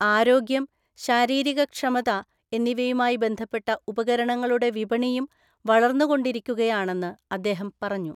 ആരോഗ്യം, ശാരീരികക്ഷമത എന്നിവയുമായിബന്ധപ്പെട്ടഉപകരണങ്ങളുടെ വിപണിയും വളർന്നുകൊണ്ടിരിക്കുകയാണെന്ന് അദ്ദേഹം പറഞ്ഞു.